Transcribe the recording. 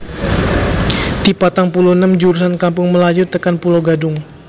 T patang puluh enem jurusan Kampung Melayu tekan Pulo Gadung